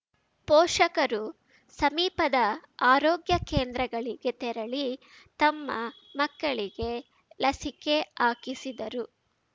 ಪೋಷಕರು ಸಮೀಪದ ಆರೋಗ್ಯ ಕೇಂದ್ರಗಳಿಗೆ ತೆರಳಿ ತಮ್ಮ ಮಕ್ಕಳಿಗೆ ಲಸಿಕೆ ಆಕಿಸಿದರು